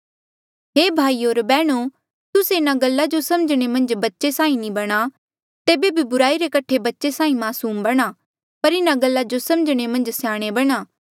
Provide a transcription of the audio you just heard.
हे भाईयो होर बैहणो तुस्से इन्हा गल्ला जो समझणे मन्झ बच्चे साहीं नी बणा तेबे बी बुराई रे कठे बच्चे साहीं मासूम बणा पर इन्हा गल्ला जो समझणे मन्झ स्याणे बणां